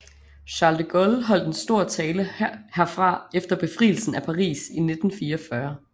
Charles de Gaulle holdt en stor tale herfra efter befrielsen af Paris i 1944